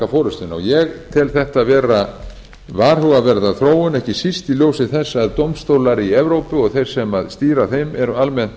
forustuna ég tel þetta vera varhugaverða þróun ekki síst í ljósi þess að dómstólar í evrópu og þeir sem stýra þeim eru almennt